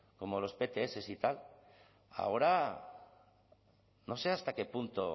como los pts y tal ahora no sé hasta qué punto